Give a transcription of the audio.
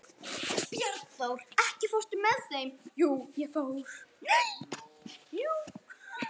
Bjarnþór, ekki fórstu með þeim?